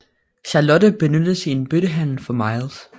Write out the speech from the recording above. Charlotte benyttes i en byttehandel for Miles